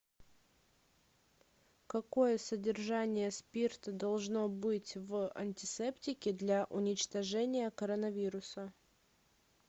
какое содержание спирта должно быть в антисептике для уничтожения коронавируса